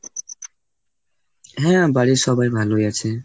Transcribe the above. হ্যাঁ, বাড়ির সবাই ভালোই আছে।